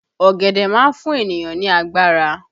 Ọ̀gẹ̀dẹ̀ má fún ènìyàn ní agbára